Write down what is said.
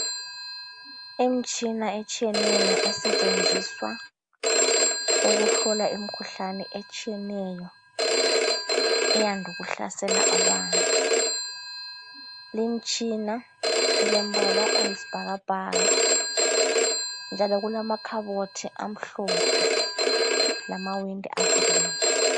Imitshina etshiyeneyo esetshenziswa ukuhlola imikhuhlane etshiyeneyo eyande ukuhlasela abantu lutshina ulombala oyisibhakabhaka njalo kulamakhabothi amhlophe lamawindi avuliweyo